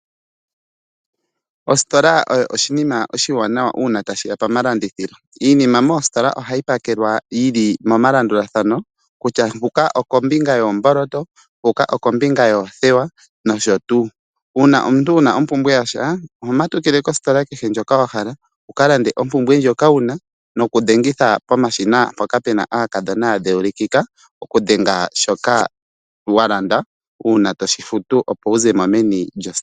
Ositola oyo oshinima oshiwanawa uuna tashiya pomalandithilo. Iinima moositola ohayi pakelwa yili momalandulathano kutya huka okombika yoomboloto, huka okombinga yoothewa, nosho tuu. Uuna omuntu una ompumbwe yasha ohomatukile kositola ndjoka wahala wukalande ompumbwe ndjoka wuna noku dhengitha pomashina mpoka Pena aakadhona ya dheulikika okudhenga shoka walanda uuna tofutu opo wuzemo meni lyositola.